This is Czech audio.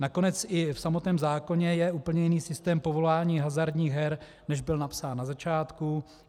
Nakonec i v samotném zákonu je úplně jiný systém povolování hazardních her, než byl napsán na začátku.